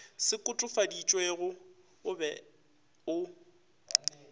se kotofaditšwego o be o